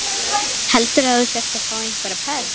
Heldurðu að þú sért að fá einhverja pest?